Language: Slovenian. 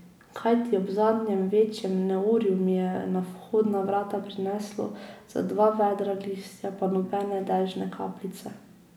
Kajti ob zadnjem večjem neurju mi je na vhodna vrata prineslo za dva vedra listja, pa nobene dežne kapljice.